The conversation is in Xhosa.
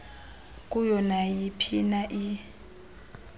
kuyo nayiphina i